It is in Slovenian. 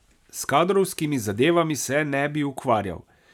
S kadrovskimi zadevami se ne bi ukvarjal.